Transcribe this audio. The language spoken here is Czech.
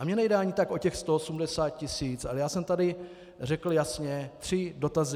A mně nejde ani tak o těch 180 tisíc, ale já jsem tady řekl jasně tři dotazy.